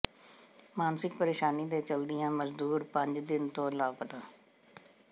ਮਾਨਸਿਕ ਪ੍ਰੇਸ਼ਾਨੀ ਦੇ ਚੱਲਦਿਆਂ ਮਜ਼ਦੂਰ ਪੰਜ ਦਿਨ ਤੋਂ ਲਾਪਤਾ